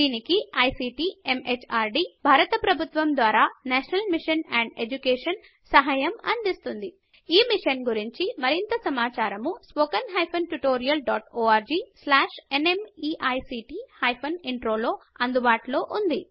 దీనికి ICT MHRD భారత ప్రభుత్వము ద్వారా నేషనల్ మిషన్ అండ్ ఎడ్యుకేషన్ సహాయం అందిస్తోంది ఈ మిషన్ గురించి మరింత సమాచారము spoken hyphen tutorial dot org slash NMEICT hyphen intro లో అందుబాటులో ఉన్నది